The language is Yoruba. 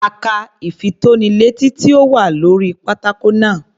A ka ìfitónilétí tí ó wà lórí pátákó náà.